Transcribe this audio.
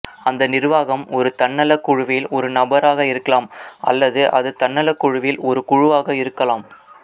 அந்த நிர்வாகம் ஒரு தன்னலக்குழுவில் ஒரு நபராக இருக்கலாம் அல்லது அது தன்னலக்குழுவில் ஒரு குழுவாக இருக்கலாம்